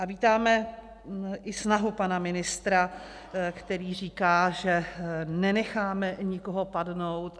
A vítáme i snahu pana ministra, který říká, že nenecháme nikoho padnout.